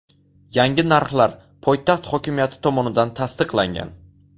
Yangi narxlar poytaxt hokimiyati tomonidan tasdiqlangan.